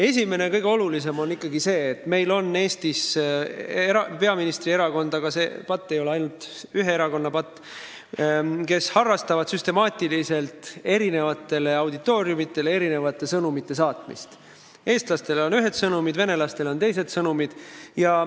Esimene ja kõige olulisem asi on ikkagi see, et meil on Eestis peaministrierakond – see ei ole küll ainult ühe erakonna patt –, kes harrastab süstemaatiliselt eri auditooriumitele erinevate sõnumite saatmist: eestlastele on ühed sõnumid, venelastele on teised sõnumid.